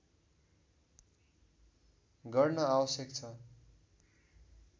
गर्न आवश्यक छ